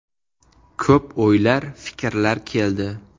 Ko‘p o‘ylar, fikrlar keldi.